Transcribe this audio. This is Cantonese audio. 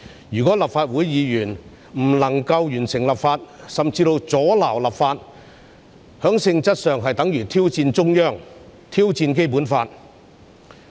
如果立法會議員不能完成立法，甚至阻撓立法，在性質上，是等於挑戰中央政府，挑戰《基本法》。